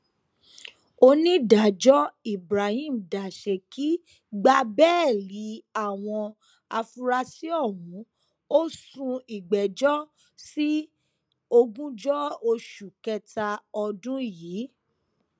onídàájọ ibrahim dasékì gba bẹẹlí àwọn afurasí ọhún ó sún ìgbẹjọ sí ogúnjọ oṣù kẹta ọdún yìí